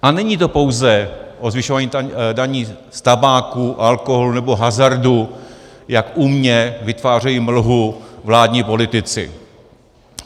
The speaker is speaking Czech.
A není to pouze o zvyšování daní z tabáku, alkoholu nebo hazardu, jak umně vytvářejí mlhu vládní politici.